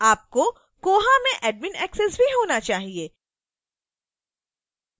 आपको koha में admin access भी होना चाहिए